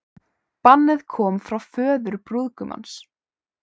Bannið kom frá föður brúðgumans